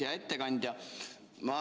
Hea ettekandja!